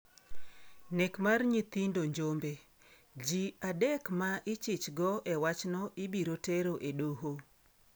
Nek mar nyithindo Njombe: Ji adek ma ichichgo e wachno ibiro tero e doho